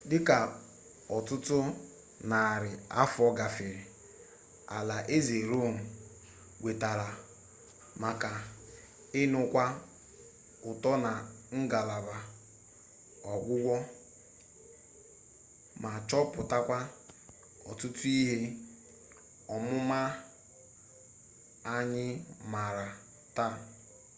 dịka ọtụtụ narị afọ gafere alaeze rom wetara maka nnukwu uto na ngalaba ọgwụgwọ ma chọpụtakwa ọtụtụ ihe ọmụma anyị maara taa